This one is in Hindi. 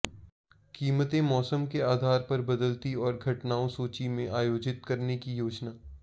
कीमतें मौसम के आधार पर बदलती और घटनाओं सोची में आयोजित करने की योजना